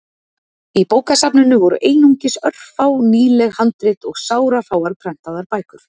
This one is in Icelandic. Í bókasafninu voru einungis örfá nýleg handrit og sárafáar prentaðar bækur.